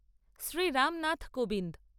Shri Ramnath Kovind